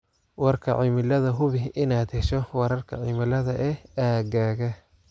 Warka Cimilada Hubi inaad hesho wararka cimilada ee aaggaaga.